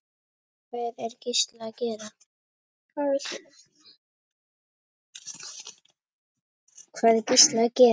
Hvað er Gísli að gera?